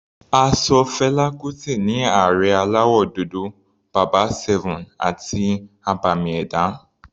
A ṣọ Fela Kuti ní Ààrẹ aláwọ̀ dúdú, bàbá 7 àti abàmì ẹ̀dá.